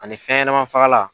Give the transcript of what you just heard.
Ani fɛn ɲɛnɛma fagalan.